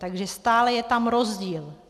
Takže stále je tam rozdíl.